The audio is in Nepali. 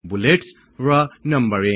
बुलेट्स र नंबरिङ